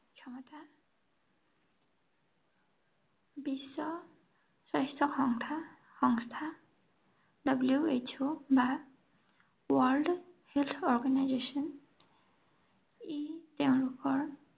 বিশ্ব স্বাস্থ্য সন্থা সংস্থা, W H O, বা World Health Organization, ই তেওঁলোকৰ